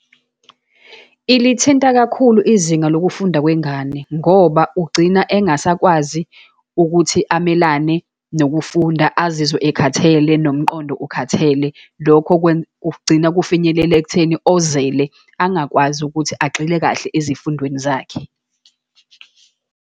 Ilithinta kakhulu izinga lokufunda kwengane, ngoba ugcina engasakwazi ukuthi amelane nokufunda, azizwe ekhathele, nomqondo ukhathele. Lokho kugcina kufinyelela ekutheni ozele, angakwazi ukuthi agxile kahle ezifundweni zakhe.